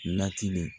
Latini